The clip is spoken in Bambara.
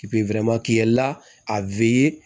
a